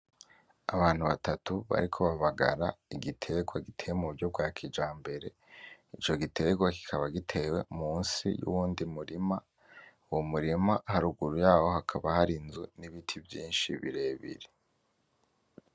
Abantu batatu bariko babagara igiterwa giteye muburyo bwa kijambere ico giterwa kikaba gitewe munsi yuwundi murima, uwo murima haruguru yawo hakaba hari ibiti vyinshi birebire.